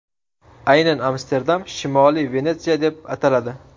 Aynan Amsterdam Shimoliy Venetsiya deb ataladi.